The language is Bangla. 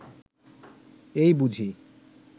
এই বুঝি